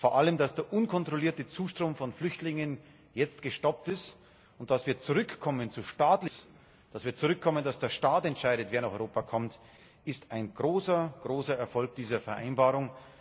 Vor allem, dass der unkontrollierte Zustrom von Flüchtlingen jetzt gestoppt ist, und dass wir zurückkommen zu staatlich organisiertem Schutz, dass wir dazu zurückkommen, dass der Staat entscheidet, wer nach Europa kommt, ist ein großer Erfolg dieser Vereinbarung.